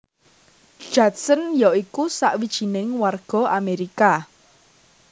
Judson ya iku sawijining warga Amerika